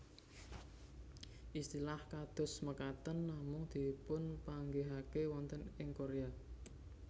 Istilah kados mekaten namung dipunpanggihaken wonten ing Korea